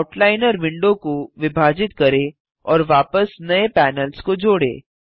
outliner window को विभाजित करें और वापस नये पैनल्स को जोड़ें